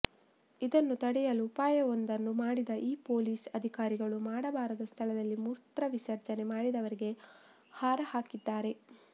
ಇದನ್ನು ತಡೆಯಲು ಉಪಾಯವೊಂದನ್ನು ಮಾಡಿದ ಈ ಪೊಲೀಸ್ ಅಧಿಕಾರಿಗಳು ಮಾಡಬಾರದ ಸ್ಥಳದಲ್ಲಿ ಮೂತ್ರ ವಿಸರ್ಜನೆ ಮಾಡಿದವರಿಗೆ ಹಾರ ಹಾಕಿದ್ದಾರೆ